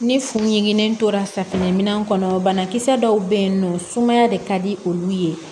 Ni furuɲɔgɔn tora safinɛ minɛ kɔnɔ banakisɛ dɔw bɛ yen nɔ sumaya de ka di olu ye